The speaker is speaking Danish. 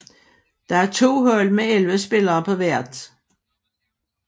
Der er to hold med elleve spillere på hvert